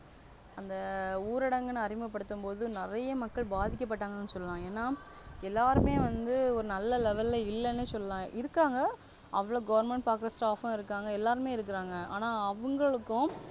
அந்த ஊரடங்குனு அறிமுக படுத்தும்போது நிறைய மக்கள் பதிக்க பட்டாங்கனு சொல்லலா என்ன எல்லாருமே வந்து ஒரு நல்ல Level இல்லனு சொல்லலாம், இருக்காங்க அவ்ளோ Government பாக்குற staff இருகாங்க எல்லாருமே இருகாங்க ஆனா அவங்களுக்கு,